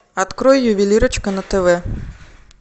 открой ювелирочка на тв